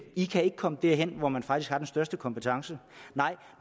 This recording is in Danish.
i kan ikke komme derhen hvor man faktisk har den største kompetence nej